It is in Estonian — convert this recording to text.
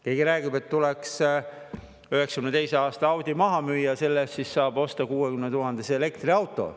Keegi räägib, et tuleks 1992. aasta Audi maha müüa, et selle eest saab osta 60 000 eurot maksva elektriauto.